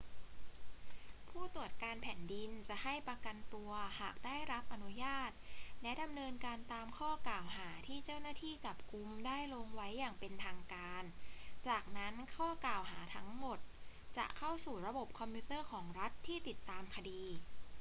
ผู้ตรวจการแผ่นดินจะให้ประกันตัวหากได้รับอนุญาตและดำเนินการตามข้อกล่าวหาที่เจ้าหน้าที่จับกุมได้ลงไว้อย่างเป็นทางการ จากนั้นข้อกล่าวหาทั้งหมดจะเข้าสู่ระบบคอมพิวเตอร์ของรัฐที่ติดตามคดี